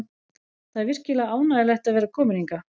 Það er virkilega ánægjulegt að vera kominn hingað.